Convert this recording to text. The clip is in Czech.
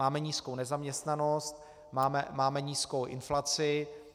Máme nízkou nezaměstnanost, máme nízkou inflaci.